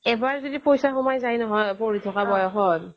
এবাৰ যদি পইচা সোমাই যায় নহয় পঢ়ি থকা বয়সত